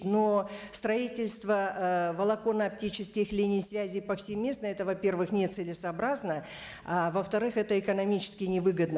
но строительство ы волоконно оптических линий связи повсеместно это во первых не целесообразно а во вторых это экономически не выгодно